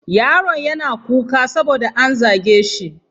Yaron yana kuka saboda an zage shi.